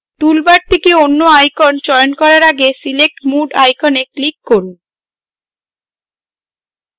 toolbar থেকে any icon চয়ন করার আগে select mode icon click করুন